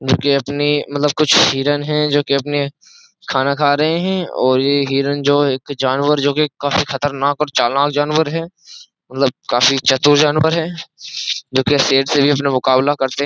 जो कि अपनी मतलब कुछ हिरण है जो कि अपने खाना खा रहे हैं और ये हिरण जो एक जानवर जो कि काफी खतरनाक और चालनाक जानवर है मतलब काफी चतुर जानवर है जो कि शेर से भी अपना मुकाबला करते है।